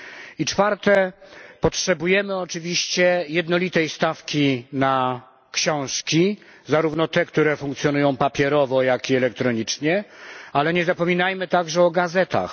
I czwarte potrzebujemy oczywiście jednolitej stawki na książki, zarówno te, które funkcjonują papierowo, jak i elektronicznie, ale nie zapominajmy również o gazetach.